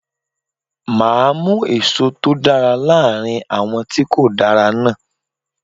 Máa mú èso tó dára láàrin àwọn tí kò dára náà.